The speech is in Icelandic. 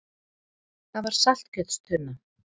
Það var saltkjötstunna.